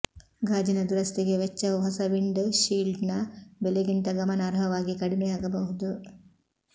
ಗಾಜಿನ ದುರಸ್ತಿಗೆ ವೆಚ್ಚವು ಹೊಸ ವಿಂಡ್ ಷೀಲ್ಡ್ನ ಬೆಲೆಗಿಂತ ಗಮನಾರ್ಹವಾಗಿ ಕಡಿಮೆಯಾಗಬಹುದು